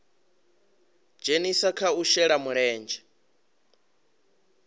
dzhenisa kha u shela mulenzhe